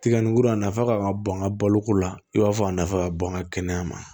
Tiga ni kurun a nafa ka kan ka bɔn n ka baloko la i b'a fɔ a nafa ka bon an ka kɛnɛya ma